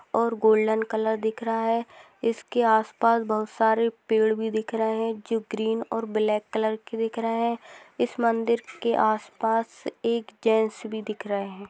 और golden colour दिख रहा है इसके आसपास बहुत सारे पेड़ भी दिख रहे हैं जो ग्रीन और ब्लैक कलर के दिख रहा है इसमें अंदर के आसपास एक जेंट्स भी दिख रहे हैं|